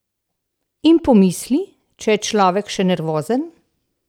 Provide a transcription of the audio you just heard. In pomisli, če je človek še nervozen!